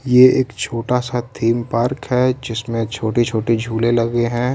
यह एक छोटा सा थीम पार्क है। जिसमे छोटे छोटे झूले लगे हैं।